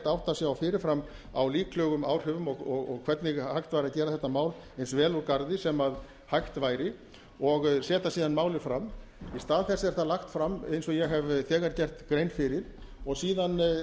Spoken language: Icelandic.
átta sig á fyrirfram líklegum áhrifum og hvernig hægt væri að gera þetta mál eins vel úr garði sem hægt væri og setja síðan málið fram í stað þess er þetta lagt fram eins og ég hef þegar gert grein fyrir og síðan